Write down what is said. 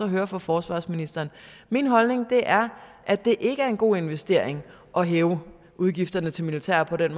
at høre fra forsvarsministeren min holdning er at det ikke er en god investering at hæve udgifterne til militæret på den